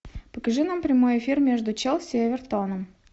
покажи нам прямой эфир между челси и эвертоном